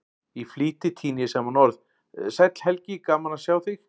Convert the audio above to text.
Í flýti tíni ég saman orð: Sæll Helgi, gaman að sjá þig